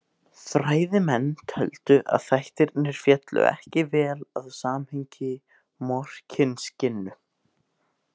Fræðimenn töldu að þættirnir féllu ekki vel að samhengi Morkinskinnu.